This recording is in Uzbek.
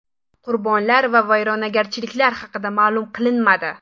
Qurbonlar va vayronagarchiliklar haqida ma’lum qilinmadi.